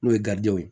N'o ye garidi ye